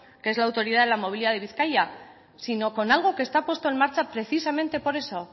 que es la autoridad de movilidad de bizkaia sino con algo que está puesto en marcha precisamente por eso